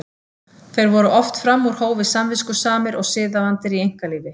Þeir voru oft fram úr hófi samviskusamir og siðavandir í einkalífi.